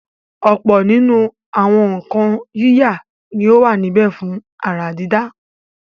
ọ̀pọ̀ nínú àwọn nǹkan yíyà ni ó wà níbẹ̀ fún àrà dídá.